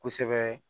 Kosɛbɛ